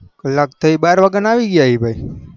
કલક થી બાર વાગ્યા ના આવી ગાય ભાઈ